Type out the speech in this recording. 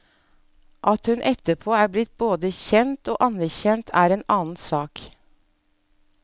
At hun etterpå er blitt både kjent og anerkjent, er en annen sak.